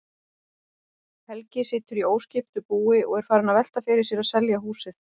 Helgi situr í óskiptu búi og er farinn að velta fyrir sér að selja húsið.